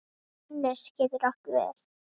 Annes getur átt við